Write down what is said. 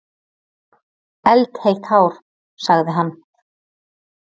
Eldheitt hár, sagði hann.